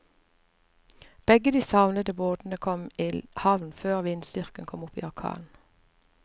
Begge de savnede båtene kom i havn før vindstyrken kom opp i orkan.